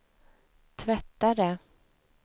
tvättare